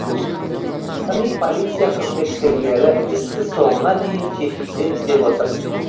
яғни полиция қызметкерлері істі соңына дейін жеткіземіз деп отыр